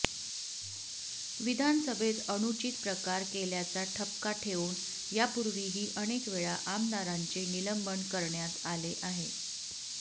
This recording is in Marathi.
विधानसभेत अनुचित प्रकार केल्याचा ठपका ठेऊन यापूर्वीही अनेक वेळा आमदारांचे निलंबन करण्याच्या आले आहे